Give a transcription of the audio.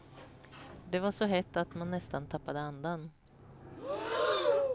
Det var så hett att man nästan tappade andan.